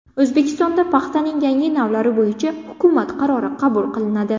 O‘zbekistonda paxtaning yangi navlari bo‘yicha hukumat qarori qabul qilinadi.